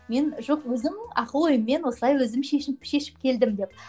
мен жоқ өзім ақыл ойыммен осылай өзім шешініп шешіп келдім деп